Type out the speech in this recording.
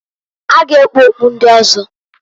Ha ga ekpu okpu ndi ọzọ.